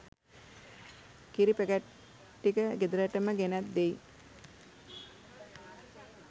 කිරි පැකට් ටික ගෙදරටම ගෙනෙත් දෙයි